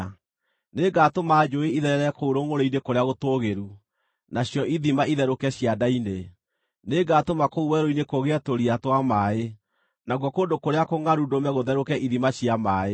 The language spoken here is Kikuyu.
Nĩngatũma njũũĩ itherere kũu rũngʼũrĩ-inĩ kũrĩa gũtũũgĩru, nacio ithima itherũke cianda-inĩ. Nĩngatũma kũu werũ-inĩ kũgĩe tũria twa maaĩ, nakuo kũndũ kũrĩa kũngʼaru ndũme gũtherũke ithima cia maaĩ.